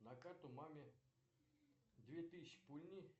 на карту маме две тысячи пульни